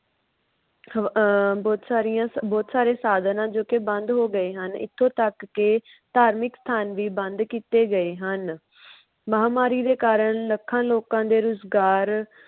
ਅਹ ਬੋਹਤ ਸਾਰੀਆਂ ਬੋਹਤ ਸਾਰੇ ਸਾਧਨ ਹਨ। ਜੋ ਕੇ ਬੰਦ ਹੋ ਗਏ ਹਨ ਇਥੋਂ ਤਕ ਕੇ ਧਾਰਮਿਕ ਸਥਾਨ ਵੀ ਬੰਦ ਕੀਤੇ ਗਏ ਹਨ। ਮਹਾਮਾਰੀ ਦੇ ਕਾਰਨ ਲੱਖਾਂ ਲੋਕਾ ਦੇ ਰੁਜਗਾਰ